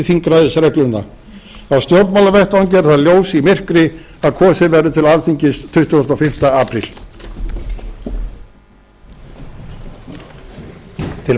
þingræðisregluna á stjórnmálavettvangi er það ljós í myrkri að kosið verður til alþingis tuttugasta og fimmta apríl bak kláraðist í fyrri spólu